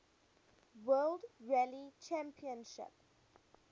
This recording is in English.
world rally championship